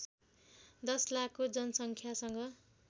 १० लाखको जनसङ्ख्यासँग